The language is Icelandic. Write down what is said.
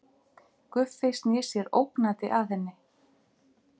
Guffi snýr sér ógnandi að henni.